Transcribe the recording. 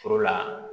Foro la